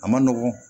A ma nɔgɔn